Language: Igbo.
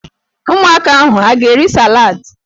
Ụmụaka ahụ ha a ga-eri saladị?